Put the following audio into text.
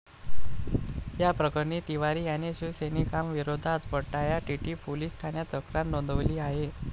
या प्रकरणी तिवारी याने शिवसैनिकांविरोधात वडाळा टीटी पोलिस ठाण्यात तक्रार नोंदवली आहे.